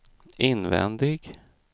invändig